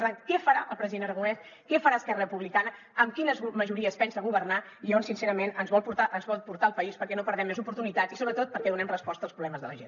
per tant què farà el president aragonès què farà esquerra republicana amb quines majories pensa governar i on sincerament ens vol portar el país perquè no perdem més oportunitats i sobretot perquè donem resposta als problemes de la gent